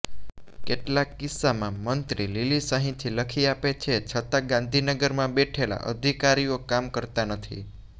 કેટલાક કિસ્સામાં મંત્રી લીલી સહીથી લખી આપે છે છતાં ગાંધીનગરમાં બેઠેલા અધિકારીઓ કામ કરતાં નથી